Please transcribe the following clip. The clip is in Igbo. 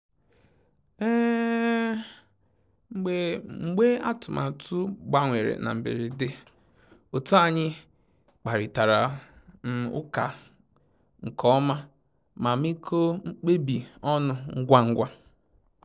Mbge atụmatụ gbanwere na mgberede, otu anyi kparịtara ụka nke ọma ma mekọọ mkpebi ọnụ ngwa ngwa